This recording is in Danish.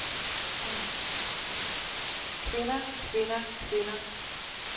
kvinder kvinder kvinder